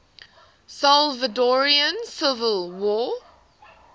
salvadoran civil war